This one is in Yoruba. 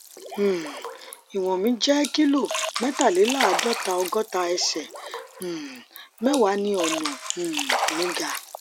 um iwọn mi jẹ kilo mẹtàléláàádọta ọgọta ẹsẹ um mẹwàá ni ọnà um mi ga